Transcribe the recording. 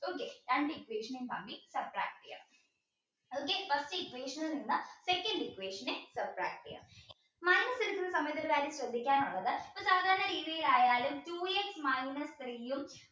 okay രണ്ടു equation subtract ചെയ്യണം okay first equation ൽ നിന്ന് second equation subtract ചെയ്യണം minus എടുക്കുന്ന സമയത്ത് ശ്രദ്ധിക്കാനുള്ള ഒരു കാര്യം സാധാരണ രീതിയിലായാലും two x minus three